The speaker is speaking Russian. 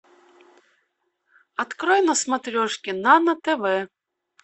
открой на смотрешке нано тв